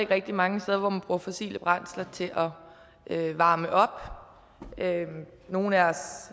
rigtig mange steder hvor man bruger fossile brændsler til at varme op nogle af os